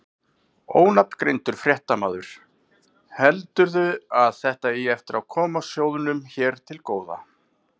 Ónafngreindur fréttamaður: Heldurðu að þetta eigi eftir að koma sjóðnum hér til góða?